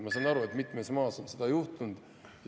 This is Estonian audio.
Ma saan aru, et mitmel maal on nii juhtunud.